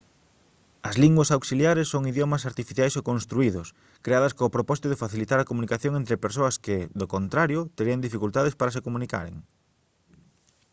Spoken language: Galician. as linguas auxiliares son idiomas artificiais ou construídos creadas co propósito de facilitar a comunicación entre persoas que do contrario terían dificultades para se comunicaren